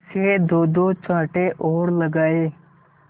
से दोदो चांटे और लगाए